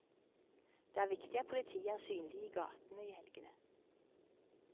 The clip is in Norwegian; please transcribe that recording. Det er viktig at politiet er synlig i gatene i helgene.